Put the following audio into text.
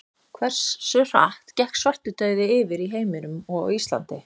Hversu hratt gekk svartidauði yfir í heiminum og á Íslandi?